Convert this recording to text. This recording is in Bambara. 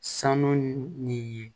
Sanu ni ye